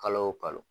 Kalo o kalo